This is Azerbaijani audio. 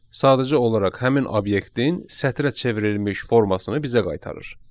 Sadəcə olaraq həmin obyektin sətrə çevrilmiş formasını bizə qaytarır.